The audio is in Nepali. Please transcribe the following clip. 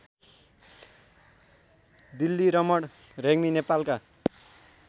डिल्लीरमण रेग्मी नेपालका